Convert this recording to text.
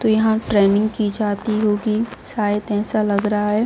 तो यहां ट्रेनिंग की जाती होगी शायद ऐसा लग रहा है ।